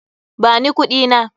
Ba ni kuɗina!